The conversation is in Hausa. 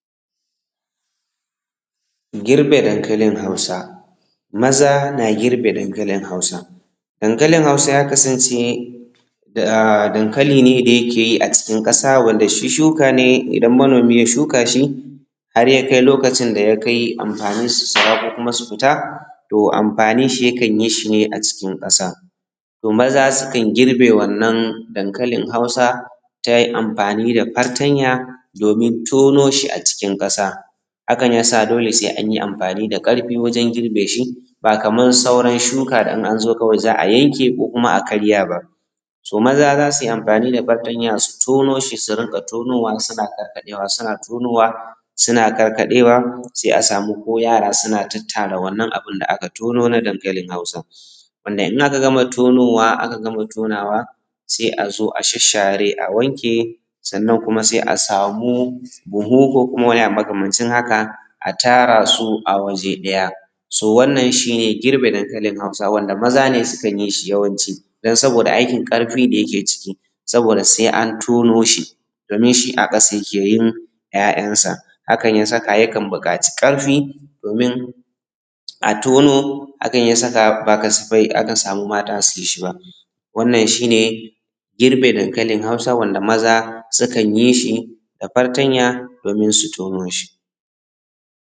Girbe dankalin Hausa, maza na girbe dankalin Hausa, dankalin Hausa ya kasance aa dankali ne da yake yi a cikin ƙasa wanda shi shuka ne da idan manomi ya shuka shi har ya kai lokacin da ya kai amfaninsu sara ko kuma su fita to amfanin shi ne yakan yi shi ne a cikin ƙasa, to maza sukan girbe wannan dankalin Hausa ta amfani da fartanya domin tono shi a cikin ƙasa, hakan ya sa dole sai an yi amfani da ƙarfi wajen girbe shi, ba Kaman sauran shuka da in an zo kawai za a yanke ko kuma a karya to maza za su yi amfani da fartanya su tono shi su rinka tonowa suna karkaɗewa suna tonowa suna karkaɗewa sai a samu ko yara suna tattara wannan abin da aka tonona dankalin Hausa wanda in aka gama tonowa aka gama tonowa sai a zo a shashshare a wanke sannan kuma sai a samu buhu ko kuma wani abu makamancin haka a tara su a waje ɗaya So wannan shi ne girbe dankalin Hausa wanda maza ne sukan yi shi yawanci dan sabo da aikin karfi da yake ciki sabo da sai an tono shi domin shi a ƙasa yake yin `ya`yansa, hakan ya saka yakan buƙaci ƙarfi yin shi ba wannan shi ne girbe dankalin Hausa wanda maza sukan yi shi da fartanya domin tono shi